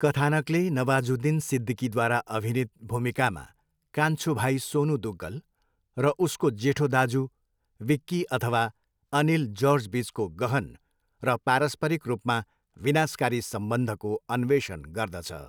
कथानकले नवाजुद्दिन सिद्दिकीद्वारा अभिनित भूमिकामा कान्छो भाइ सोनू दुग्गल र उसको जेठो दाजु विक्की अथवा अनिल जर्जबिचको गहन र पारस्परिक रूपमा विनाशकारी सम्बन्धको अन्वेषण गर्दछ।